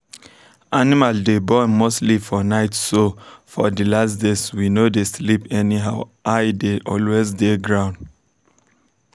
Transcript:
animal day born mostly for nightso for the last days we no day sleep anyhow eye day always day ground.